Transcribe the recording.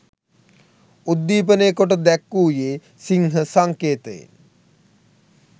උද්දීපනය කොට දැක්වූයේ සිංහ සංකේතයෙන්.